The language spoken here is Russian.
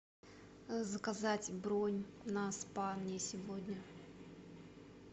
заказать бронь на спа мне сегодня